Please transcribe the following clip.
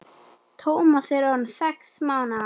Tómas er orðinn sex mánaða.